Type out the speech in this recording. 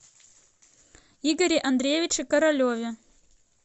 игоре андреевиче королеве